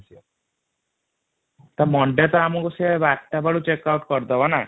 ତ ମାନଡେ ତ ଆମକୁ ସେ ୧୨ ବେଳୁ ଚକ୍କ ଆଉଟ କରିଦବ ନଇ |